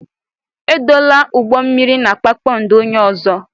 Edola ụgbọ mmiri na kpakpando onye ọzọ.